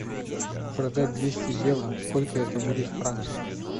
продать двести евро сколько это будет в франках